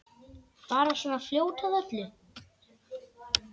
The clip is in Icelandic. Bara svona fljót að öllu.